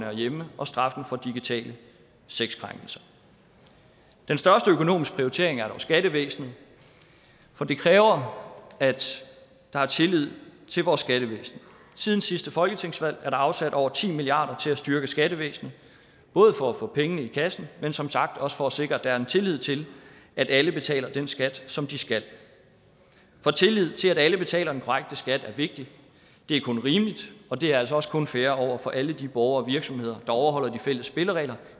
er hjemme og straffen for digitale sexkrænkelser den største økonomiske prioritering er dog skattevæsenet for det kræver at der er tillid til vores skattevæsen siden sidste folketingsvalg er der afsat over ti milliard kroner til at styrke skattevæsenet både for at få pengene i kassen men som sagt også for at sikre at der er tillid til at alle betaler den skat som de skal for tillid til at alle betaler den korrekte skat er vigtigt det er kun rimeligt og det er altså også kun fair over for alle de borgere og virksomheder der overholder de fælles spilleregler